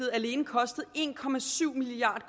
alene kostet en milliard